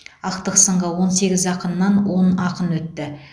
ақтық сынға он сегіз ақыннан он ақын өтті